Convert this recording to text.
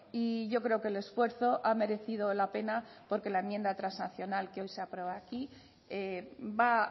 y yo creo que el esfuerzo ha merecido la pena porque la enmienda transaccional que hoy se aprueba aquí va